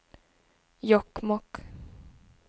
Jokkmokk